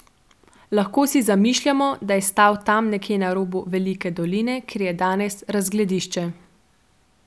Lahko si zamišljamo, da je stal tam nekje na robu Velike doline, kjer je danes razgledišče.